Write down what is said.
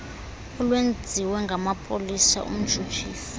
olwenziwe ngamapolisa umtshutshisi